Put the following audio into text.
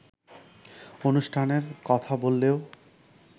অনুষ্ঠানের কথা বললেও